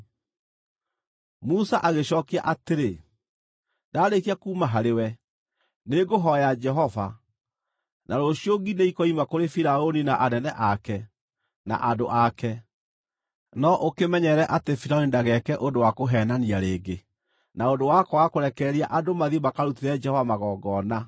Musa agĩcookia atĩrĩ, “Ndaarĩkia kuuma harĩwe, nĩngũhooya Jehova, na rũciũ ngi nĩikoima kũrĩ Firaũni na anene ake, na andũ ake. No ũkĩmenyerere atĩ Firaũni ndageke ũndũ wa kũheenania rĩngĩ, na ũndũ wa kwaga kũrekereria andũ mathiĩ makarutĩre Jehova magongona.”